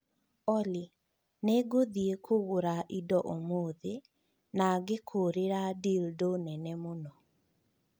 Olly, nĩ ngũthiĩ kũgũra indo ũmũthĩ na ngĩkũrĩra dildo nene mũno